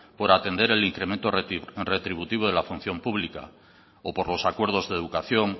por atender el incremento retributivo de la función pública o por los acuerdos de educación